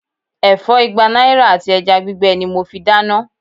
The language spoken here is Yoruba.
Ẹ̀fọ́ igba náírà àti ẹja gbígbẹ ni mo fi dáná.